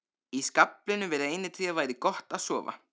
Í skaflinum við reynitréð væri gott að sofa.